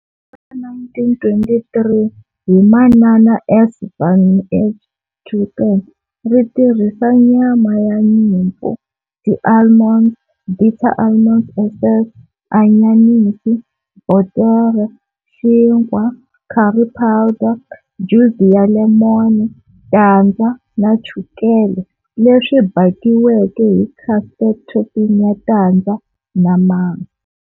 Ra 1923 hi Manana S. van H. Tulleken ri tirhisa nyama ya nyimpfu, ti almonds, bitter almond essence, anyanisi, botere, xinkwa, curry powder, juzi ya lemon, tandza na chukele, leswi bakiweke hi custard topping ya tandza na masi.